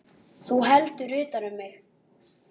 Þú heldur utan um mig.